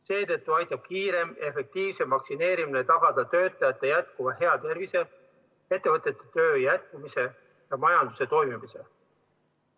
Seetõttu aitab kiirem ja efektiivsem vaktsineerimine tagada töötajate jätkuva hea tervise, ettevõtete töö jätkumise ja majanduse toimimise.